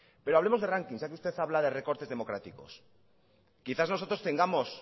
pero hablemos de rankings ya que usted habla de recortes democráticos quizás nosotros tengamos